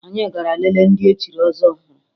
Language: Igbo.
Anyị gara lelee ndị echiri ọzọ ọhụrụ